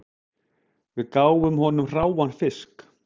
Við gáfum honum hráan fisk